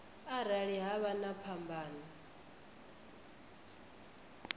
arali ha vha na phambano